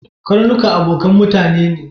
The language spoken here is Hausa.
Karnuka abokan mutane ne.